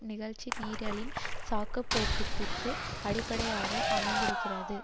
நிகழ்ச்சி நிரலின் சாக்குப்போக்கிற்கு அடிப்படையாக அமைந்திருக்கிறது